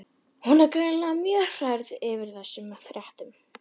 Hún er greinilega mjög hrærð yfir þessum fréttum.